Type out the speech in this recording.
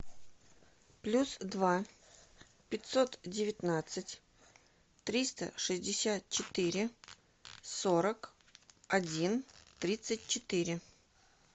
плюс два пятьсот девятнадцать триста шестьдесят четыре сорок один тридцать четыре